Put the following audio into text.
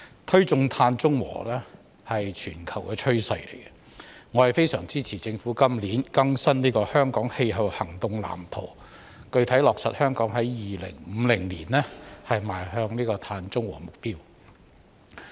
推進碳中和是全球的趨勢，我非常支持政府今年更新《香港氣候行動藍圖》，具體落實香港在2050年邁向碳中和的目標。